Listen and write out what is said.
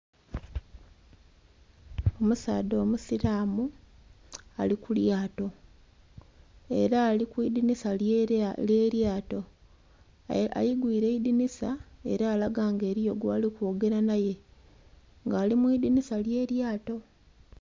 Omusaadha omusilamu ali ku lyato, ela ali ku idinisa ly'elyato. Aigwiile eidinisa ela alaga nga eliyo gwali kwogela naye. Nga ali mu idinisa ly'elyato.